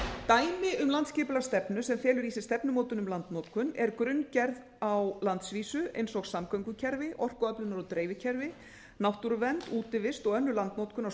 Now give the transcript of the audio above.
dæmi um landsskipulagsstefnu sem felur í sér stefnumótun um landnotkun er grunngerð á landsvísu eins og samgöngukerfi orkuöflunar og dreifikerfi náttúruvernd útivist og önnur landnotkun á